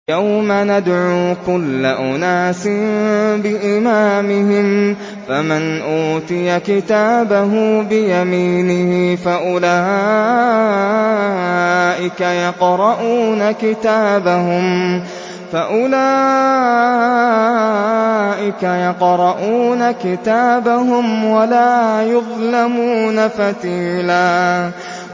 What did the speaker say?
يَوْمَ نَدْعُو كُلَّ أُنَاسٍ بِإِمَامِهِمْ ۖ فَمَنْ أُوتِيَ كِتَابَهُ بِيَمِينِهِ فَأُولَٰئِكَ يَقْرَءُونَ كِتَابَهُمْ وَلَا يُظْلَمُونَ فَتِيلًا